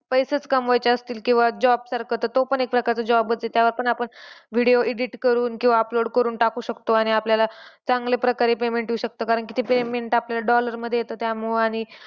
पैसेच कमवायचे असतील किंवा job करायचं असेल तर तो ही एक प्रकारचा job आहे. त्यावर पण आपण video edit करून किंवा upload करून टाकू शकतो आणि आपल्याला चांगल्या प्रकारे payment येऊ शकतं. कारण की ते payment आपल्याला dollar मध्ये येत. त्यामुळे आणि